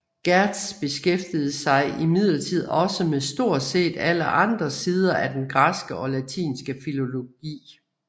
Gertz beskæftigede sig imidlertid også med stort set alle andre sider af den græske og latinske filologi